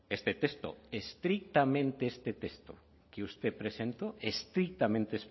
este texto estrictamente este texto que usted presentó estrictamente